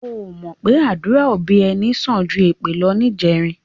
O ò mọ̀ pé àdúrà òbí ẹni sàn ju èpè lọ níjẹrin?